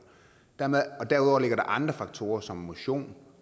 og derudover ligger der andre faktorer som motion